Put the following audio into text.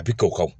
A bi tɔ ka